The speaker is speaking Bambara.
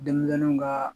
Denmisɛnninw kaa